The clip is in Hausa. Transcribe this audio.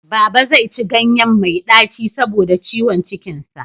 Baba zai ci ganyen mai ɗaci saboda ciwon cikin sa.